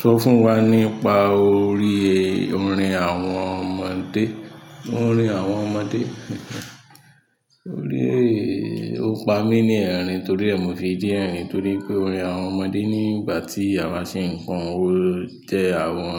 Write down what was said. Sọ fún wa nípa orí orin àwọn ọmọdé. Orin àwọn ọmọdé. Orí, o pa mí ní ẹ̀rìn torí ẹ mo fi rín ẹ̀rìn torí pé orin àwọn ọmọdé nígbà tí àwa ṣe ń kọrin jẹ́ àwọn